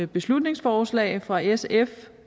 beslutningsforslag fra sf